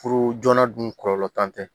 Furu joona dun kɔlɔlɔ t'an tɛ